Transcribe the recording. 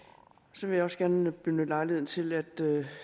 så vil jeg også gerne benytte lejligheden til at